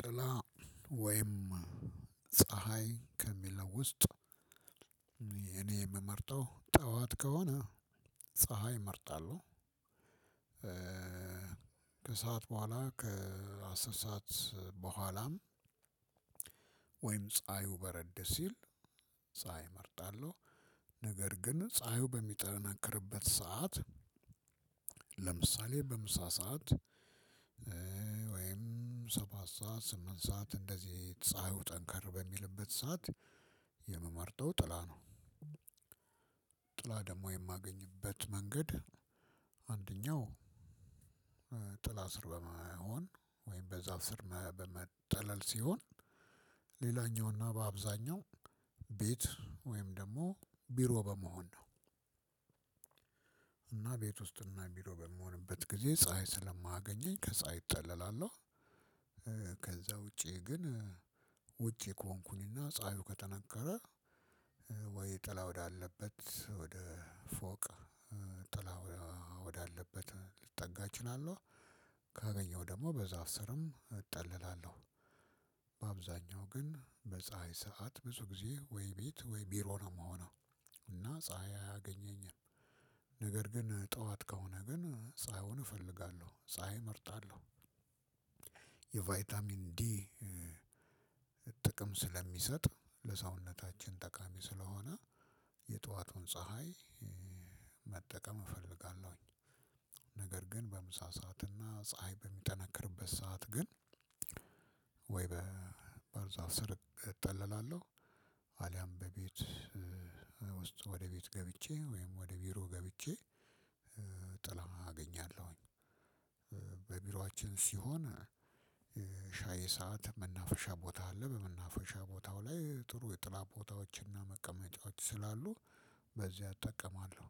ጥላ ወይም ፀሀይ ከሚለው ውስጥ የምመርጠው ጠዋት ከሆነ ፀሀይ እመርጣለሁ ከሰአት በኋላ ከአስር ሰዓት በኋላም ወይም ፀሀዩ በረድ ሲል ፀሀይ እመርጣለሁ። ነገር ግን ፀሀዩ በሚጠነክርበት ሰዓት ለምሳሌ በምሳ ሰዓት ወይም ሰባት ሰዓት ስምንት ሰዓት እንደዚህ ፀሀዩ ጠንከር በሚልበት ሰዓት የምመርጠው ጥላ ነው። ጥላ ደግሞ የማገኝበት መንገድ አንደኛው ጥላ ስር በመሆን ወይም በዛፍ ስር በመጠለል ሲሆን ሌላኛውና በአብዛኛው ቤት ወይም ደግሞ ቢሮ በመሆን ነው። ቤት ውስጥ እና ቢሮ በምሆንበት ጊዜ ፀሀይ ስለማያገኘኝ ከፀሀይ እጠለላለሁ። ውጪ ግን ውጪ ከሆንኩኝ እና ፀሀዩ ከጠነከረ ወይ ወይ ጥላ ወዳለበት ወደ ፎቅ ጥላ ወዳለበት ልጠጋ እችላለሁ ካገኘሁ ደግሞ በዛፍ ስርም እጠለላለሁ። በአብዛኛው ግን በፀሀይ ሰዓት ብዙ ጊዜ ወይ ቤት ወይ ቢሮ ነው የምሆነው እና ፀሀይ አያገኘኝም። ግን ጠዋት ከሆነ ግን ፀሀዩን እፈልጋለሁ ፀሀይ እመርጣለሁ። እንግዲህ ጥቅም ስለሚሰጥ ለሰውነታችን ጠቃሚ ስለሆነ የጧቱን ፀሀይ መጠቀም እፈልጋለሁኝ። ነገር ግን በምሳ ሰዓት እና ፀሀይ በሚጠነክርበት ሰዓት ግን ወይ በዛፍ ስር እጠለላለሁ አሊያም በቤት ውስጥ ወደ ቤት ገብቼ ወይም ወደ ቢሮ ገብቼ ጥላ አገኛለሁኝ። በቢሮአችን ሲሆን ሰዓት መናፈሻ ቦታ አለ በመናፈሻ ቦታው ላይ ጥሩ የጥላ ቦታዎችና መቀመጫዎች ስላሉ በዚያ እጠቀማለሁ።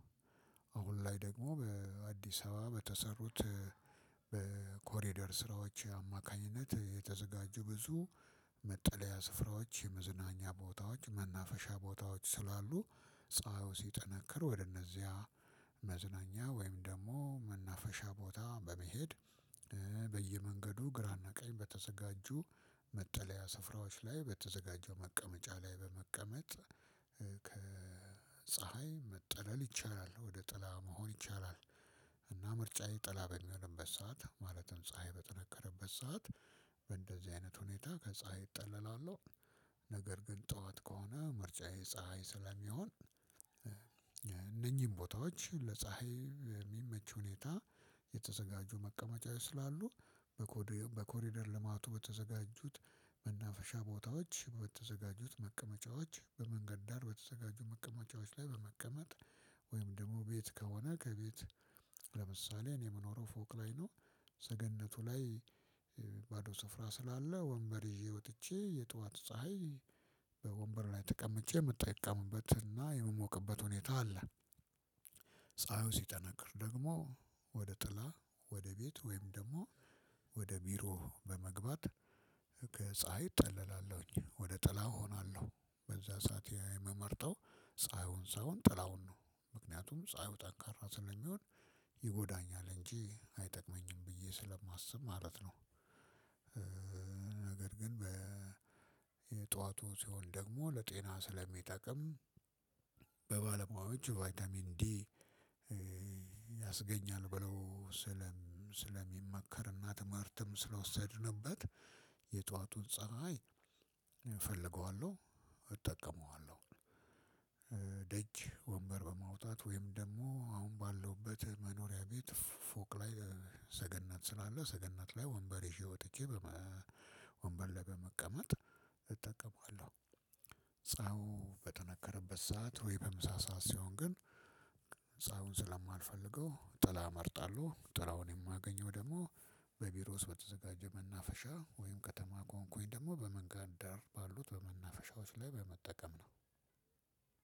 አሁን ላይ ደግሞ በአዲስ አበባ በተሰሩት በኮሪደር ስራዎች አማካኝነት የተዘጋጁ ብዙ መጠለያ ስፍራዎች መዝናኛ ቦታዎች መናፈሻ ቦታዎች ስላሉ ፀሀዩ ሲጠነክር ወደነዚያ መዝናኛ ወይም ደግሞ መናፈሻ ቦታ በመሄድ በየመንገዱ ግራ እና ቀኝ በተዘጋጁ መጠለያ ስፍራዎች ላይ በተዘጋጀው መቀመጫ ላይ በመቀመጥ ከፀሀይ መጠለል ይቻላል ወደ ጥላ መሆን ይቻላል። እና ምርጫዬ ጥላ በሚሆንበት ሰዓት ማለትም ፀሀይ በጠነከረበት ሰዓት በእንደዚህ አይነት ሁኔታ ከፀሀይ እጠለላለሁ። ነገር ግን ጠዋት ከሆነ ምርጫዬ ፀሀይ ስለሚሆን። እነኚህን ቦታዎች ለፀሀይ የሚመች ሁኔታ የተዘጋጁ መቀመጫ ስላሉ በኮሪደር ልማቱ በተዘጋጁት መናፈሻ ቦታዎች በተዘጋጁት መቀመጫዎች በመንገድ ዳር በተዘጋጁ መቀመጫዎች ላይ በመቀመጥ ወይም ደግሞ ቤት ከሆነ ከቤት ለምሳሌ እኔ የምኖረው ፎቅ ላይ ነው። ሰገነቱ ላይ ባዶ ስፍራ ስላለ ወንበር ይዤ ወጥቼ የጧት ወንበር ላይ ተቀምጬ የምጠቀምበት እና የምሞቅበት ሁኔታ አለ። ፀሀዩ ሲጠነክር ደግሞ ወደ ጥላ ወደ ቤት ወይም ደግሞ ወደ ቢሮ በመግባት ከፀሀይ እጠለላለሁኝ ወደ ጥላው እሆናለሁ በዛ ሰዓት የምመርጠው ፀሀዩን ሳይሆን ጥላውን ነው ምክንያቱም ፀሀዩ ጠንካራ ስለሚሆን ይጎዳኛል እንጂ አይጠቅመኝም ብዬ ስለማስብ ማለት ነው። ነገር ግን በ የጠዋቱ ሲሆን ደግሞ ለጤና ስለሚጠቅም በባለሙያዎች ቫይታሚን ዲ ያስገኛል ብለው ስለሚመከርና ትምህርትም ስለወሰድንበት የጧቱን ፀሀይ እፈልገዋለሁ እጠቀመዋለሁ። ወንበር በማውጣት ወይም ደግሞ አሁን ባለሁበት መኖሪያ ቤት ፎቅ ላይ ሰገነት ስላለ ሰገነት ላይ ወንበር ይዤ ወጥቼ ወንበር ላይ በመቀመጥ እጠቀማለሁ። ፀሀው በጠነከረበት ሰዓት ወይ በምሳ ሰዓት ሲሆን ግን ፀሀውን ስለማልፈልገው ጥላ እመርጣለሁ ጥላውን የማገኘው ደግሞ በቢሮ ውስጥ በተዘጋጀ መናፈሻ ወይም ከተማ ከሆንኩኝ ደግሞ በመንገድ ዳር ባሉት በመናፈሻዎች ላይ በመጠቀም ነው።